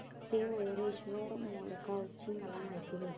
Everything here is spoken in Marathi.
श्री मयूरेश्वर मोरगाव ची मला माहिती दे